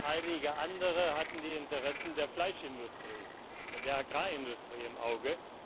Einige andere hatten die Interessen der Fleischindustrie, der Agrarindustrie im Auge.